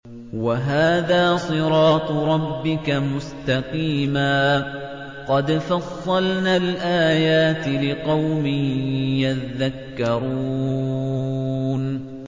وَهَٰذَا صِرَاطُ رَبِّكَ مُسْتَقِيمًا ۗ قَدْ فَصَّلْنَا الْآيَاتِ لِقَوْمٍ يَذَّكَّرُونَ